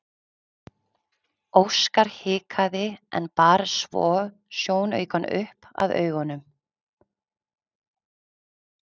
Óskar hikaði en bar svo sjónaukann upp að augunum.